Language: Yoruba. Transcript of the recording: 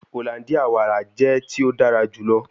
Hollandia wara jẹ ti o dara julọ